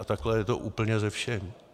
A takhle je to úplně se vším.